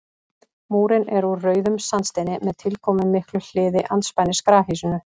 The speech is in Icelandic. Múrinn er úr rauðum sandsteini með tilkomumiklu hliði andspænis grafhýsinu.